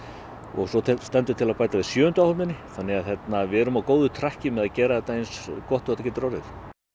og svo stendur til að bæta við sjöundu áhöfninni þannig að við erum á góðu með að gera þetta eins gott og þetta getur orðið